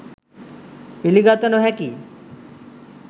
පිළිගත නොහැකියි.